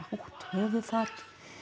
höfuðfat